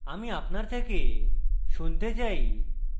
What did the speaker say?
আমি আপনার থেকে শুনতে চাই